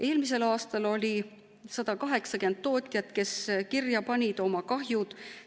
Eelmisel aastal oli 180 tootjat, kes panid kirja oma kahjud.